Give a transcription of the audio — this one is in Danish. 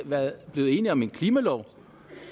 blevet enige om en klimalov